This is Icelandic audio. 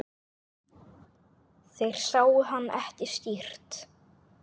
Þeir sáu hann ekki skýrt.